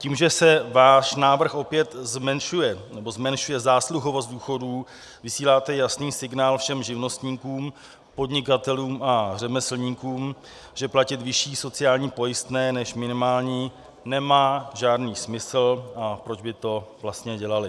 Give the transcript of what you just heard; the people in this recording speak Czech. Tím, že se váš návrh opět zmenšuje, nebo zmenšuje zásluhovost důchodů, vysíláte jasný signál všem živnostníkům, podnikatelům a řemeslníkům, že platit vyšší sociální pojistné než minimální nemá žádný smysl, a proč by to vlastně dělali.